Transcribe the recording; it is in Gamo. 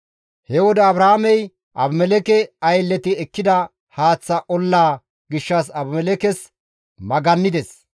He wode Abrahaamey Abimelekke aylleti ekkida haaththa olla gishshas Abimelekkes magannides.